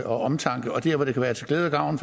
omtanke og dér hvor det kan være til glæde og gavn